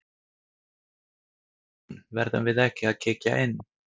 Símon: Verðum við ekki að kíkja inn?